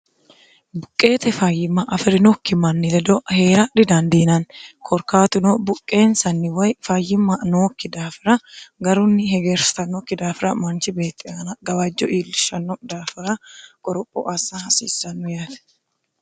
buqqeete fayyimma afi'rinokki manni ledo hee'ra dhidandiinanni korkaatuno buqqeensanni woy fayyimma nookki daafira garunni hegeersannokki daafira manchi beexxiaana gawajjo iillishanno daafira qoropho assa hasiissannu yaate